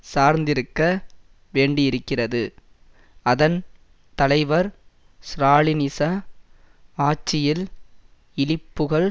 சார்ந்திருக்க வேண்டியிருக்கிறது அதன் தலைவர் ஸ்ராலினிச ஆட்சியில் இழிபுகழ்